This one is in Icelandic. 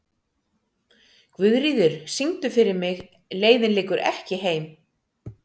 Guðríður, syngdu fyrir mig „Leiðin liggur ekki heim“.